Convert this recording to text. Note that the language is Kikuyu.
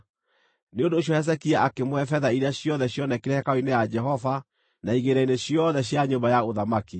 Nĩ ũndũ ũcio Hezekia akĩmũhe betha iria ciothe cionekire hekarũ-inĩ ya Jehova na igĩĩna-inĩ ciothe cia nyũmba ya ũthamaki.